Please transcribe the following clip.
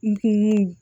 N kun